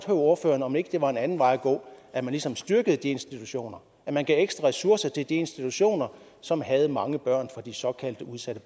ordføreren om ikke det var en anden vej at gå at man ligesom styrkede de institutioner at man gav ekstra ressourcer til de institutioner som havde mange børn fra de såkaldte udsatte